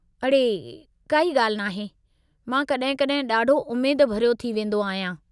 अड़े, काई ॻाल्हि नाहे! मां कॾहिं कॾहिं ॾाढो उमेद भरियो थी वेंदो आहियां।